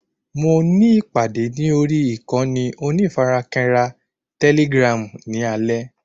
Mo ní ìpàdé ní orí ìkànnì onífarakínra tẹ́lígràm ní alẹ́